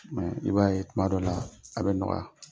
i b'a ye tuma dɔ la a bɛ nɔgɔya.